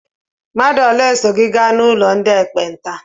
Mmadụ ole so gị gaa n'ụlọ ndị ekpenta?